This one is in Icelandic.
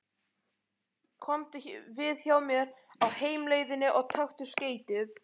Komdu við hjá mér á heimleiðinni og taktu skeytið.